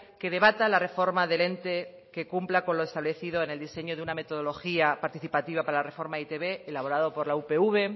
que debata la reforma del ente que cumpla con lo establecido en el diseño de una metodología participativa para la reforma de e i te be elaborado por la upv